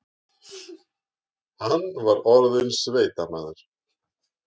Hann var orðinn sveitamaður.